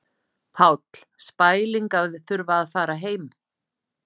Páll: Spæling að þurfa að fara heim?